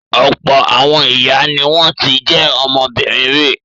Ọ̀pọ̀ àwọn ìyá ni wọ́n ti jẹ́ ọmọbìnrin rí.